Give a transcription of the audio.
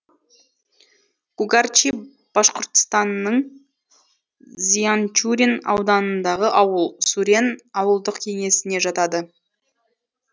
кугарчи башқұртстанның зианчурин ауданындағы ауыл сурен ауылдық кеңесіне жатады